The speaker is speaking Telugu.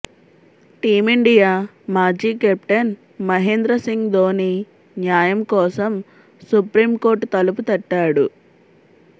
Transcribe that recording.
టీమిండియా మాజీ కెప్టెన్ మహేంద్ర సింగ్ ధోని న్యాయం కోసం సుప్రీంకోర్టు తలుపు తట్టాడు